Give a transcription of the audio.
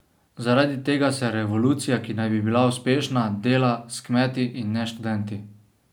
Zaradi tega se revolucija, ki naj bi bila uspešna, dela s kmeti, in ne s študenti.